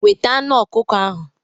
Weta anụ ọkukọ ahụ.